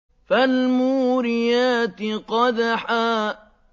فَالْمُورِيَاتِ قَدْحًا